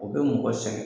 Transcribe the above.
U bɛ mɔgɔ sɛgɛn